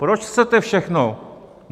Proč chcete všechno?